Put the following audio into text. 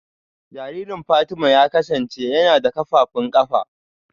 Jaririn Fatima ya kasance yana da kafafun kafa